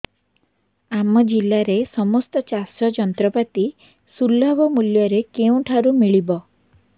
ଆମ ଜିଲ୍ଲାରେ ସମସ୍ତ ଚାଷ ଯନ୍ତ୍ରପାତି ସୁଲଭ ମୁଲ୍ଯରେ କେଉଁଠାରୁ ମିଳିବ